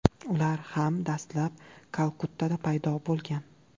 Ular ham dastlab Kalkuttada paydo bo‘lgan.